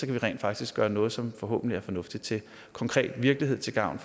vi rent faktisk gøre noget som forhåbentlig er fornuftigt til konkret virkelighed til gavn